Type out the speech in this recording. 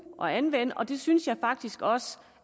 og anvende og det synes jeg faktisk også